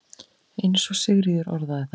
eins og Sigríður orðar það.